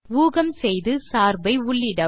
ஊகம் செய்து சார்பை உள்ளிடவும்